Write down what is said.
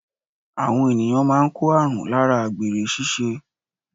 Àwọn ènìyàn máa n kó àrùn láara àgbèrè síse